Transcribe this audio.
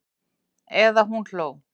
Eða hún hló.